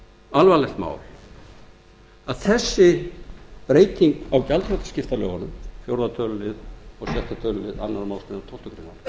alvarlegt mál að þessi breyting á gjaldþrotaskiptalögunum fjórða tölulið og sjötta tölulið